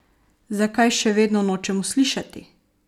Zakaj še vedno nočemo slišati?